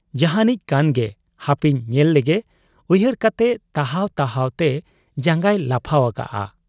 ᱡᱟᱦᱟᱸᱱᱤᱡ ᱠᱟᱱ ᱜᱮᱭ ᱦᱟᱯᱮᱧ ᱧᱮᱞ ᱞᱮᱜᱮ ᱩᱭᱦᱟᱹᱨ ᱠᱟᱛᱮ ᱛᱟᱦᱟᱣ ᱛᱟᱦᱟᱣ ᱛᱮ ᱡᱟᱝᱜᱟᱭ ᱞᱟᱯᱷᱟᱣ ᱟᱠᱟᱜ ᱟ ᱾